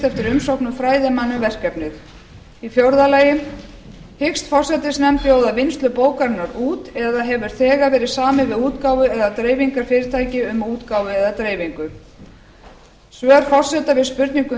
eftir umsóknum fræðimanna um verkefnið fjórða hyggst forsætisnefnd bjóða vinnslu bókarinnar út eða hefur þegar verið samið við útgáfu eða dreifingarfyrirtæki um útgáfu eða dreifingu svör forseta við spurningum